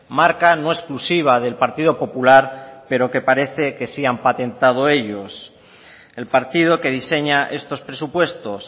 marca no exclusiva del partido popular pero que parece que sí han patentado ellos el partido que diseña estos presupuestos